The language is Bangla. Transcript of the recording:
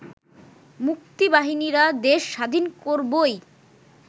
মুক্তিবাহিনীরা দেশ স্বাধীন করবই